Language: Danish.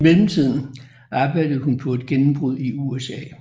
I mellemtiden arbejdede hun på et gennembrud i USA